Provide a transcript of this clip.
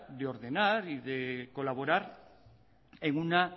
de ordenar y colaborar en una